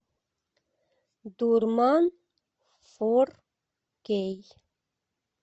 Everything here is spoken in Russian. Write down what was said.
дурман фор кей